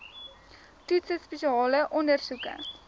toetse spesiale ondersoeke